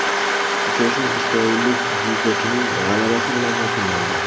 Uchrashuv isroillik dzyudochining g‘alabasi bilan yakunlandi.